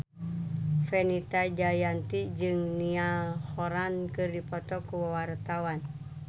Fenita Jayanti jeung Niall Horran keur dipoto ku wartawan